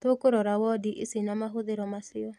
Tũkũrora wondi ici na mahũthĩro macio